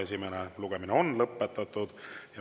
Esimene lugemine on lõpetatud.